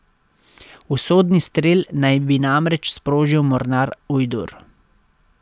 Usodni strel naj bi namreč sprožil mornar Ujdur.